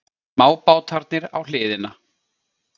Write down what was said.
Smábátarnir á hliðina.